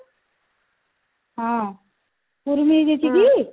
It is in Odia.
ହଁ କୁର୍ମି ହେଇଯାଇଛି କି